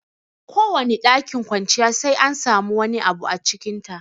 Kowane ɗakin kwanciya sai an samu wani abu a cikin ta